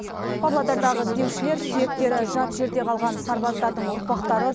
павлодардағы іздеушілер сүйектері жат жерде қалған сарбаздардың ұрпақтары